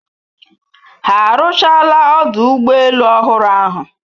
Ha arụchaala ọdụ ụgbọ elu ọhụrụ ahụ